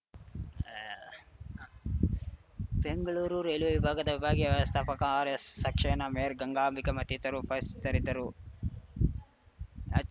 Bengaluru railway ವಿಭಾಗದ ವಿಭಾಗೀಯ ವ್ಯವಸ್ಥಾಪಕ ಆರ್‌ಎಸ್‌ಸಕ್ಷೇನಾ ಮೇರ್ಯ ಗಂಗಾಬಿಕೆ ಮತ್ತಿತರರು ಉಪಸ್ಥಿತರಿದ್ದರು